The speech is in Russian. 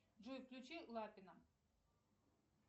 джой включи лапина